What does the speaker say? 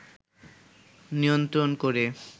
নিয়ন্ত্রণ করে